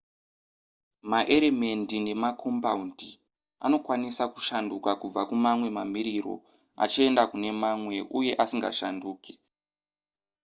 maeremendi nemakombaundi anokwanisa kushanduka kubva kumamwe mamiriro achienda kune mamwe uye asingashanduke